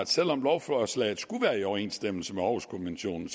selv om lovforslaget skulle være i overensstemmelse med århuskonventionen